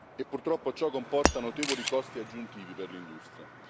e purtroppo ciò comporta notevoli costi aggiuntivi per l'industria.